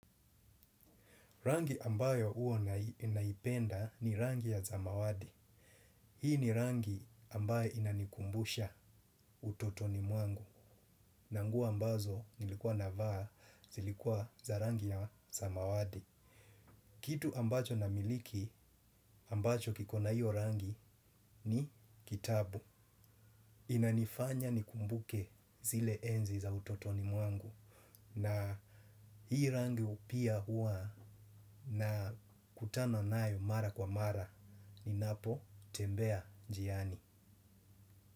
Rangi ambayo huwa ninaipenda ni rangi ya zamawadi. Hii ni rangi ambayo inanikumbusha utotoni mwangu. Na nguo ambazo nilikuwa navaa zilikuwa za rangi ya zamawadi. Kitu ambacho ninamiliki ambacho kikona hiyo rangi ni kitabu. Inanifanya nikumbuke zile enzi za utotoni mwangu. Na hii rangi upia hua na kutananayo mara kwa mara. Ninapotembea njiani.